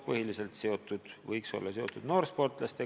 Põhiliselt võiks need olla mõeldud noorsportlastele.